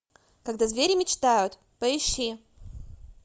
когда звери мечтают поищи